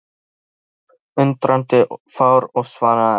Hann leit upp undrandi og fár og svaraði ekki.